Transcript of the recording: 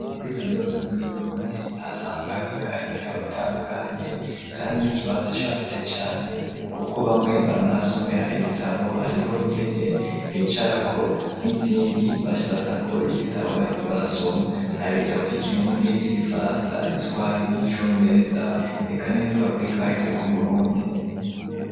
Kuri kaminuza nkuru y'uburundi ahasanzwe habika ibitabo bitandukanye kandi n'ikibanza cagutse cane kuko bamwe baranahasomera ibitabo hariho intebe bicarako nizindi basasako igitabo bariko barasoma hari ibitabo vy'ikirundi, vy'igifaransa, igiswahiri, icongereza eka nibivuga kuri kahise k'Uburundi.